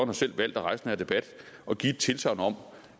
har selv valgt at rejse denne debat at give et tilsagn om